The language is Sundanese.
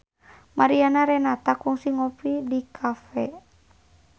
Mariana Renata kungsi ngopi di cafe